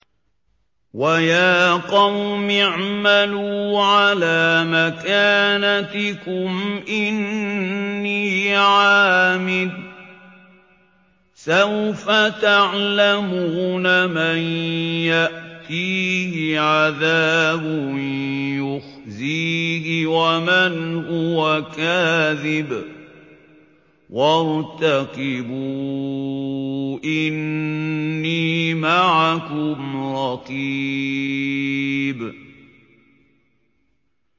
وَيَا قَوْمِ اعْمَلُوا عَلَىٰ مَكَانَتِكُمْ إِنِّي عَامِلٌ ۖ سَوْفَ تَعْلَمُونَ مَن يَأْتِيهِ عَذَابٌ يُخْزِيهِ وَمَنْ هُوَ كَاذِبٌ ۖ وَارْتَقِبُوا إِنِّي مَعَكُمْ رَقِيبٌ